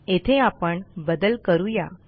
येथे आपण बदल करूया